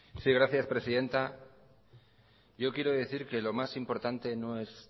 sí gracias presidenta yo quiero decir que lo más importante no es